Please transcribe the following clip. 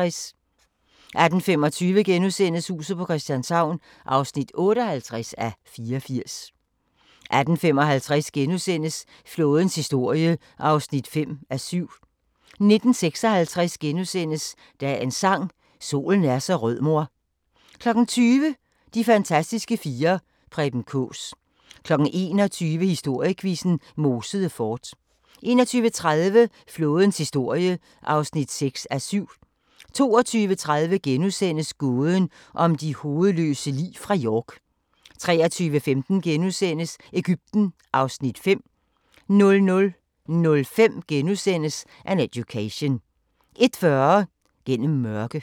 18:25: Huset på Christianshavn (58:84)* 18:55: Flådens historie (5:7)* 19:56: Dagens Sang: Solen er så rød mor * 20:00: De fantastiske fire: Preben Kaas 21:00: Historiequizzen: Mosede Fort 21:30: Flådens historie (6:7) 22:30: Gåden om de hovedløse lig fra York * 23:15: Egypten (Afs. 5) 00:05: An Education * 01:40: Gennem mørke